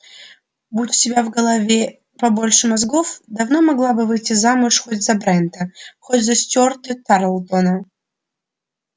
будь у тебя в голове побольше мозгов давно могла бы выйти замуж хоть за брента хоть за стюарта тарлтона